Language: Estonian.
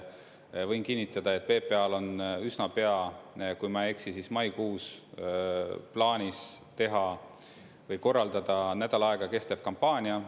Võin kinnitada, et PPA-l on üsna pea – kui ma ei eksi, siis maikuus – plaanis teha või korraldada nädal aega kestev kampaania.